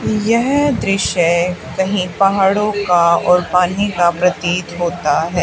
यह दृश्य कहीं पहाड़ों का और पानी का प्रतीत होता हैं।